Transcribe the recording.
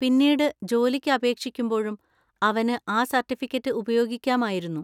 പിന്നീട് ജോലിക്ക് അപേക്ഷിക്കുമ്പോഴും അവന് ആ സർട്ടിഫിക്കറ്റ് ഉപയോഗിക്കാമായിരുന്നു.